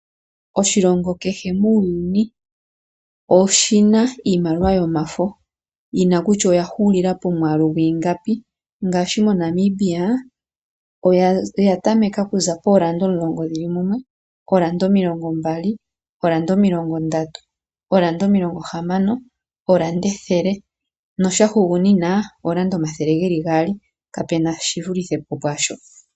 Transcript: Oshilongo kehe muuyuni, oshina iimaliwa yomafo yina kutya oyahuulila pomwaalu gwiingapi, ngaashi moNamibia oyatameka okuza poolanda omulongo dhili mumwe, poolanda omilongo mbali, poolanda omilongo ndatu, poolanda omilongo hamano, poolanda ethele, notyahugunina oolanda omathele geli gaali kapena shivulithe po pwaasho.